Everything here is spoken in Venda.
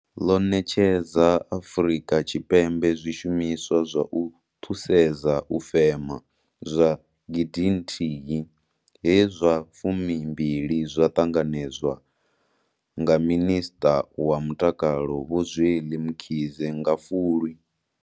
ḽo ṋetshedza Afrika Tshipembe zwishumiswa zwa u thusedza u fema zwa 1 000, he zwa 20 zwa ṱanganedzwa nga Minisṱa wa Mutakalo Vho Zweli Mkhize nga Fulwi.